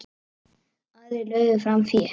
Aðrir lögðu fram fé.